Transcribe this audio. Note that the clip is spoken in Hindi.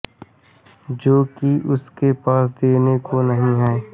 जो कि उसके पास देने को नहीं है